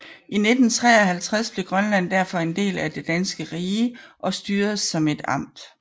I 1953 blev Grønland derfor en del af det danske rige og styredes som et amt